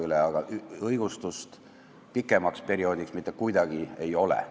Pikemale perioodile õigustust leida kuidagi võimalik ei ole.